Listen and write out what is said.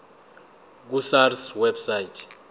ku sars website